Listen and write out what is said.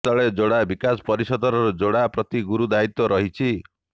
ଏପରିସ୍ଥଳେ ଯୋଡା ବିକାଶ ପରିଷଦର ଯୋଡା ପ୍ରତି ଗୁରୁ ଦାୟିତ୍ୱ ରହିଛି